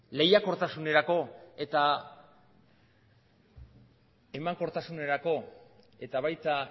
lehiakortasunerako eta emankortasunerako eta baita